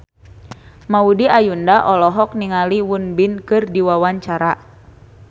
Maudy Ayunda olohok ningali Won Bin keur diwawancara